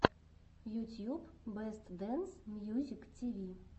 ютьюб бэст дэнс мьюзик тиви